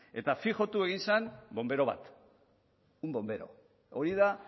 eta fijotu egin zen bonbero bat un bombero hori da